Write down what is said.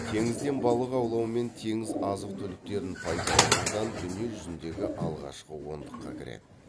теңізден балық аулау мен теңіз азық түліктерін пайдаланудан дүние жүзіндегі алғашқы ондыққа кіреді